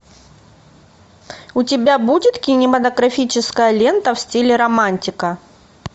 у тебя будет кинематографическая лента в стиле романтика